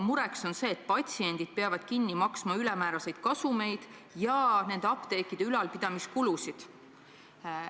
Mure on see, et patsiendid peavad kinni maksma hulgimüüjate ülemääraseid kasumeid ja nende apteekide ülalpidamise kulusid.